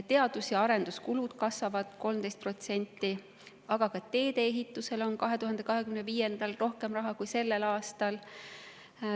Teadus‑ ja arenduskulud kasvavad 13%, aga ka teedeehitusele on 2025. aastal rohkem raha kui sellel aastal.